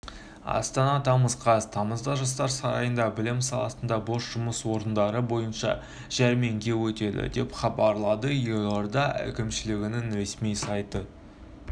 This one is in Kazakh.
астана тамыз қаз тамызда жастар сарайында білім саласында бос жұмыс орындары бойынша жәрмеңке өтеді деп хабарлады елорда әкімшілігінің ресми сайты